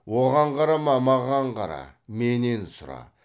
оған қарама маған қара менен сұра